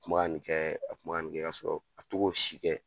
kun bɛ ka nin kɛ a kun bɛ ka nin kɛ ka sɔrɔ a to k'o si kɛ.